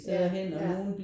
Ja ja